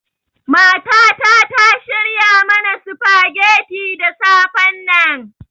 Matata ta shirya mana sufageti da safennan.